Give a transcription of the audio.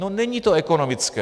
No není to ekonomické.